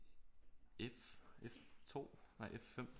F 2 nej F 5